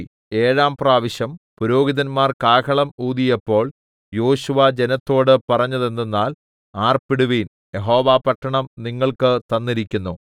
ഏഴാംപ്രാവശ്യം പുരോഹിതന്മാർ കാഹളം ഊതിയപ്പോൾ യോശുവ ജനത്തോട് പറഞ്ഞതെന്തെന്നാൽ ആർപ്പിടുവിൻ യഹോവ പട്ടണം നിങ്ങൾക്ക് തന്നിരിക്കുന്നു